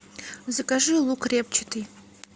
закажи лук репчатый